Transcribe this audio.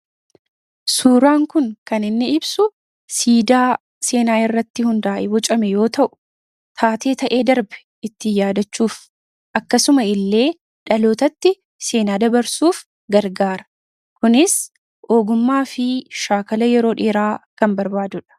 Suuraan kun kan inni ibsu siidaa seenaa irratti hundaa'e bocame yoo ta'u taatee ta'ee darbe ittiin yaadachuuf akkasuma illee dhalootatti seenaa dabarsuuf gargaara. kunis ogummaa fi shaakala yeroo dheeraa kan barbaadudha